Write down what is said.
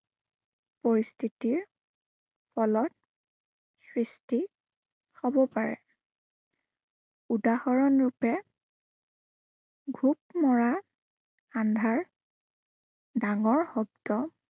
পৰিস্থিতিৰ, ফলত সৃষ্টি, হব পাৰে। উদাহৰণ ৰূপে ঘোপমৰা, আন্ধাৰ ডাঙৰ শব্দ